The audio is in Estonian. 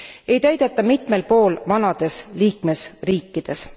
ei täideta mitmel pool vanades liikmesriikides.